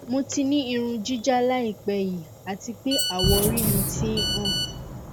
mo ti ni irun jija laipe yi ati pe awọori mi ti n han